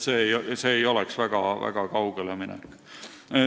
See ei oleks väga kaugele minek.